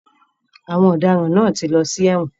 Àwọn ọ̀daràn náà ti lọ sí ẹ̀wọ̀n.